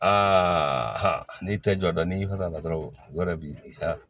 Aa n'i tɛ jɔ n'i y'i fɛ ka la dɔrɔn u yɛrɛ bi